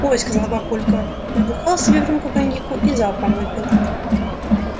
ой сказал папулька набухал себе в рюмку коньяку и залпом выпил